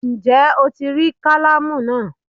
Ǹjé Ó ti rí kálámù náà